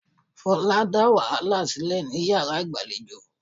Folake dá wàhálà sílẹ̀ ní yàrá ìgbàlejò.